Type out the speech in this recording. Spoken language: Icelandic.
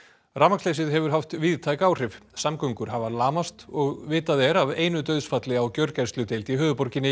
rafmagnsleysið hefur haft víðtæk áhrif samgöngur hafa lamast og vitað er af einu dauðsfalli á gjörgæsludeild í höfuðborginni